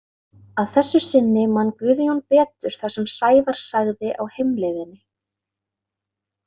Að þessu sinni man Guðjón betur það sem Sævar sagði á heimleiðinni.